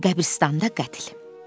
Qəbiristanlıqda qətl.